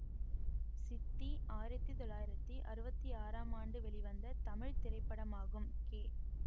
சித்தி ஆயிரத்தி தொள்ளாயிரத்தி அறுபத்தி ஆறாம் ஆண்டு வெளிவந்த தமிழ் திரைப்படமாகும் கே